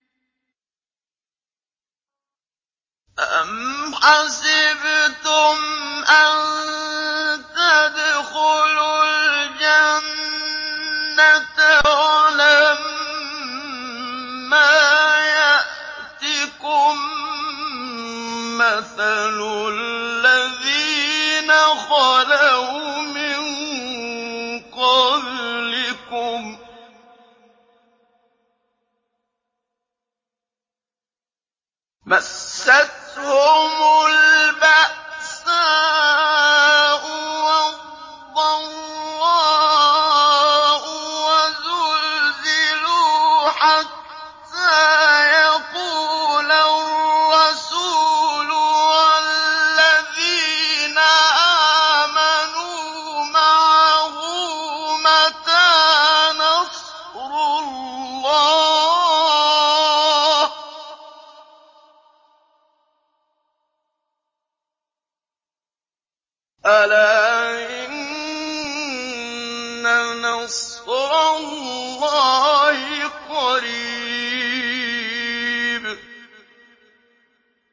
أَمْ حَسِبْتُمْ أَن تَدْخُلُوا الْجَنَّةَ وَلَمَّا يَأْتِكُم مَّثَلُ الَّذِينَ خَلَوْا مِن قَبْلِكُم ۖ مَّسَّتْهُمُ الْبَأْسَاءُ وَالضَّرَّاءُ وَزُلْزِلُوا حَتَّىٰ يَقُولَ الرَّسُولُ وَالَّذِينَ آمَنُوا مَعَهُ مَتَىٰ نَصْرُ اللَّهِ ۗ أَلَا إِنَّ نَصْرَ اللَّهِ قَرِيبٌ